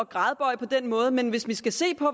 gradbøje på den måde men hvis vi skal se på